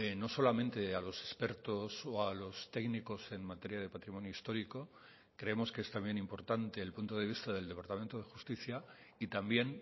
no solamente a los expertos o a los técnicos en materia de patrimonio histórico creemos que es también importante el punto de vista del departamento de justicia y también